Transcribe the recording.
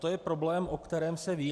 To je problém, o kterém se ví.